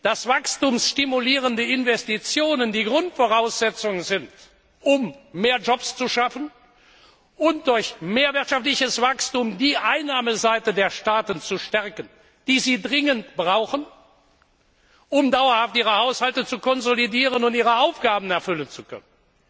dass wachstumsstimulierende Investitionen die Grundvoraussetzung sind, um mehr Jobs zu schaffen und durch mehr wirtschaftliches Wachstum die Einnahmeseite der Staaten zu stärken, die sie dringend brauchen, um ihre Haushalte dauerhaft zu konsolidieren und ihre Aufgaben erfüllen zu können.